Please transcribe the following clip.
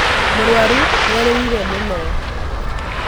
Mũrwaru nĩarĩrire mũno